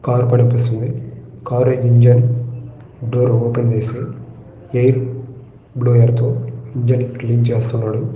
ఒక కారు కనిపిస్తుంది ఆ కారు ఇంజన్ డోర్ ఓపెన్ చేసి ఎయిర్ బ్లౌర్ తో ఇంజిన్ క్లీన్ చేస్తున్నాడు .